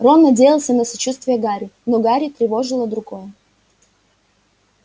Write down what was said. рон надеялся на сочувствие гарри но гарри тревожило другое